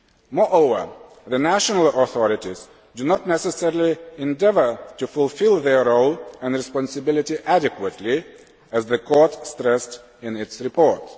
Moreover, the national authorities do not necessarily endeavour to fulfil their role and responsibility adequately, as the Court stressed in its report.